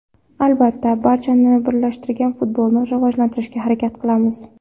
Albatta, barchani birlashtirgan futbolni rivojlantirishga harakat qilamiz.